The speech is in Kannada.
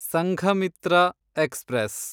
ಸಂಘಮಿತ್ರ ಎಕ್ಸ್‌ಪ್ರೆಸ್